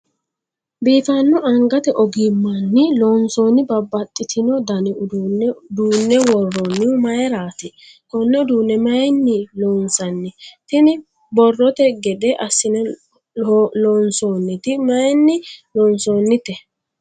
biifanno angate ogimmanni loonsoonni babbaxitino dani uduunne duunne worroonnihu mayiiraati? konne uduune mayiinni loonsanni? tini borrote gede assine loonsoonniti mayiinni loonsoonnite?